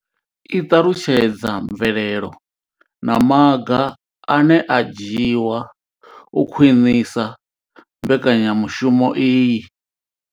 I ṱalutshedza mvelelo na maga ane a nga dzhiwa u khwinisa mbekanyamushumo iyi.